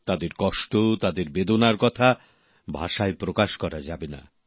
তাঁদের কষ্ট তাঁদের বেদনার কথা ভাষায় প্রকাশ করা যাবেনা